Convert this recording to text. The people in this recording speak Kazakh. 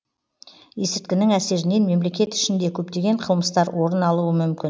есірткінің әсерінен мемлекет ішінде көптеген қылмыстар орын алуы мүмкін